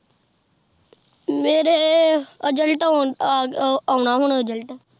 ਮੇਰੇ result ਆਉਣਾ ਹੁਣ result